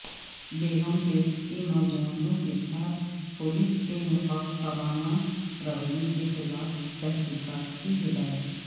بیگم پیٹ کے نوجوانوں کیساتھ پولیس کے متعصبانہ رویہ کیخلاف تحقیقات کی ہدایت